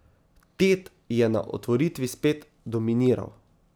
Ted je na otvoritvi spet dominiral.